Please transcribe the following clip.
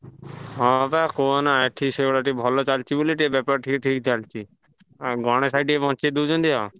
ହଁ ବା କୁହନା ଏଠି ସେଭଳିଆ ଟିକେ ଭଲ ଚାଲିଚି ବୋଲି ଟିକେ ବେପାର ଠିକ୍ ଠିକ୍ ଚାଲଚି। ଆଉ ଗଣେଶ ଭାଇ ଟିକେ ବଞ୍ଚେଇ ଦଉଛନ୍ତି ଆଉ।